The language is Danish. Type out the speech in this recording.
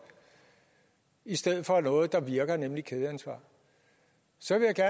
i stedet for noget der virker nemlig kædeansvar så vil jeg